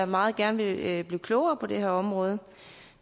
meget gerne vil blive klogere på det her område